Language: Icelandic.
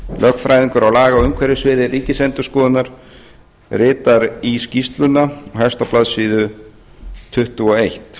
lögfræðingur á lagaumhverfissviði ríkisendurskoðunar ritar í skýrsluna og hefst á blaðsíðu tuttugu og eitt